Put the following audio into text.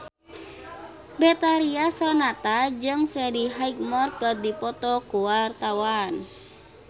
Betharia Sonata jeung Freddie Highmore keur dipoto ku wartawan